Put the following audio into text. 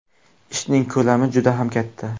Ishning ko‘lami juda ham katta.